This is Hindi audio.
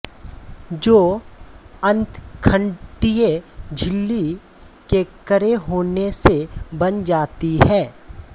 जो अंतखंडीय झिल्ली के कड़े होने से बन जाती है